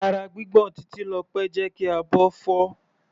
Ara gbígbọ̀n Titilope jẹ́ kí abọ́ fọ́.